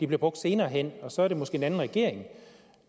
bliver brugt senere hen og så er det måske en anden regering